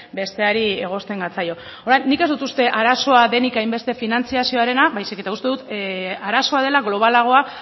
besteari egosten gatzaio nik ez dut arazoa denik hainbeste finantzazioarena baizik eta uste dut arazoa dela globalagoa